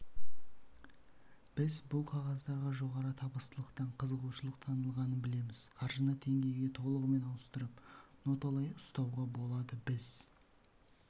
біз бұл қағаздарға жоғары табыстылықтан қызығушылық танытылғанын білеміз қаржыны теңгеге толығымен ауыстырып ноталай ұстауға болды біз